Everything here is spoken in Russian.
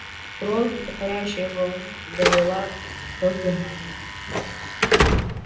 кровь горячей волны залила щеки гарри